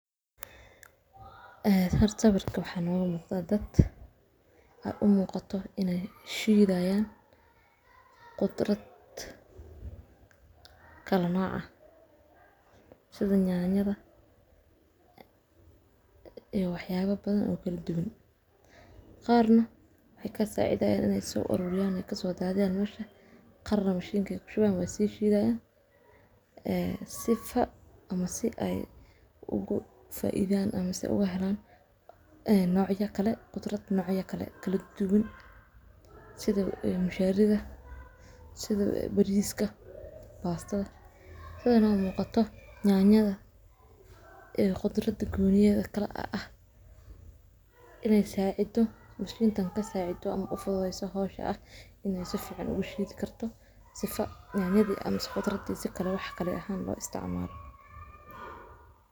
Kafiga, oo ka mid ah alaabta beeraha ee ugu muhiimsan ee dunida, waxaa soo saara guud ahaan wadamada ku yaal qeybaha tropika ee Ameerika, Afrika, iyo Aasiya, gaar ahaan wadamada kolka Brazil, Colombia, Ethiopia, Vietnam, iyo Indonesia, waxaana lagu beerayaa meelaha sare ee buurooyinka iyo dooxooyinka leh cimilo kulul iyo roobab joogto ah, isla markaana waxaa loo baahanyahay in ay noqoto mid macaan, waxaa jira laba nooc oo kafi ah: kafiga Arabica, kaas oo aad u macaan oo lagu qiimeeyo sida ugu sarreysa, iyo kafiga, kaas oo ka xooggan ahaan laakiin aan sidaas macaanayn, waxaa loo isticmaalaa in badan kafiga lagu daro sibidhka, waxaana ka shaqeeya shaqaalaha beeraha ee kuwaas oo qaata hawlo.